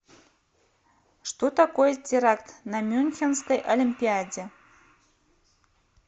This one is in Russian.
что такое теракт на мюнхенской олимпиаде